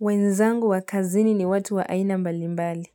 Wenzangu wakazini ni watu wa aina mbali mbali.